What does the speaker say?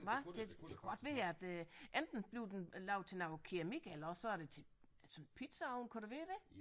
Hvad det det kunne godt være et enten blev den lavet til noget keramik eller også så er det til sådan pizzaovn kunne det være det